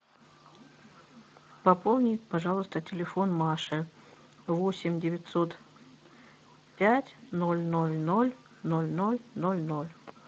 пополни пожалуйста телефон маши восемь девятьсот пять ноль ноль ноль ноль ноль ноль ноль